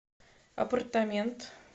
аппартамент